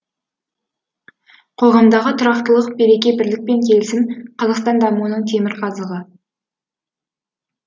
қоғамдағы тұрақтылық береке бірлік пен келісім қазақстан дамуының темірқазығы